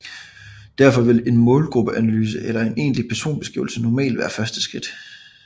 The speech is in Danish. Derfor vil en målgruppeanalyse eller en egentlig personabeskrivelse normalt være første skridt